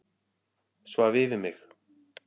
Svaf yfir mig